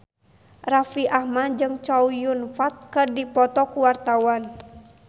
Raffi Ahmad jeung Chow Yun Fat keur dipoto ku wartawan